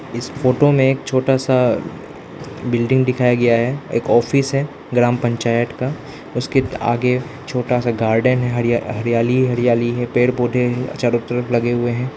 इस फोटो में एक छोटा सा बिल्डिंग दिखाया गया है एक ऑफिस है ग्राम पंचायत का उसके आगे छोटा सा गार्डन है हरियाली हरियाली है पेड़ पौधे चारों तरफ लगे हुए हैं।